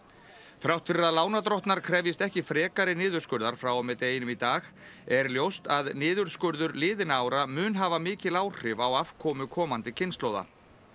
þrátt fyrir að lánadrottnar krefjist ekki frekari niðurskurðar frá og með deginum í dag er ljóst að niðurskurður liðinna ára mun hafa mikil áhrif á afkomu komandi kynslóða